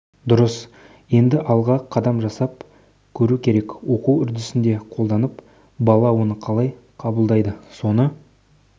дұрыс енді алға қадам жасап көру керек оқу үдерісінде қолданып бала оны қалай қабылдайды соны